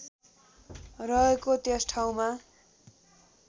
रहेको त्यस ठाउँमा